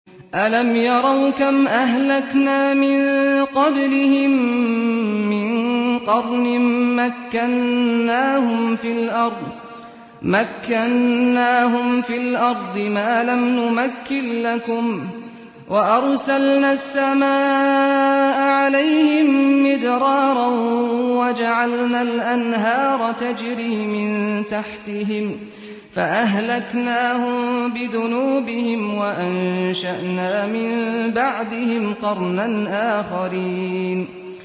أَلَمْ يَرَوْا كَمْ أَهْلَكْنَا مِن قَبْلِهِم مِّن قَرْنٍ مَّكَّنَّاهُمْ فِي الْأَرْضِ مَا لَمْ نُمَكِّن لَّكُمْ وَأَرْسَلْنَا السَّمَاءَ عَلَيْهِم مِّدْرَارًا وَجَعَلْنَا الْأَنْهَارَ تَجْرِي مِن تَحْتِهِمْ فَأَهْلَكْنَاهُم بِذُنُوبِهِمْ وَأَنشَأْنَا مِن بَعْدِهِمْ قَرْنًا آخَرِينَ